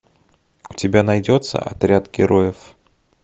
у тебя найдется отряд героев